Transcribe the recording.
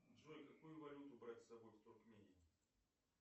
джой какую валюту брать с собой в туркмению